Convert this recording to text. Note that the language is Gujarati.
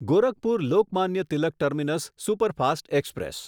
Gorakhpur Lokmanya Tilak terminus superfast express